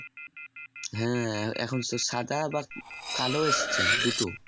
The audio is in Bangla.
হ্যাঁ এখন সাদা বা কালো এসছে দুটো